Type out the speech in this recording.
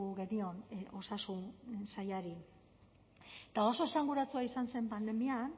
genion osasun sailari eta oso esanguratsua izan zen pandemian